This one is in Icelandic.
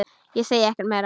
Ég segi ekkert meira.